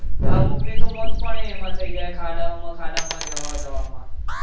અમુકની તો મોત પણ ય એમાં થઇ જાય ખાડાઓમાં, ખાડાઓમાં જવા જવામાં